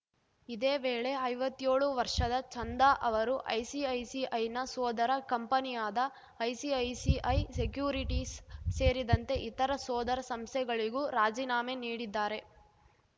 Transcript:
ಇದೇ ವೇಳೆ ಐವತ್ಯೋಳು ವರ್ಷದ ಚಂದಾ ಅವರು ಐಸಿಐಸಿಐನ ಸೋದರ ಕಂಪನಿಯಾದ ಐಸಿಐಸಿಐ ಸೆಕ್ಯುರಿಟೀಸ್‌ ಸೇರಿದಂತೆ ಇತರ ಸೋದರ ಸಂಸ್ಥೆಗಳಿಗೂ ರಾಜೀನಾಮೆ ನೀಡಿದ್ದಾರೆ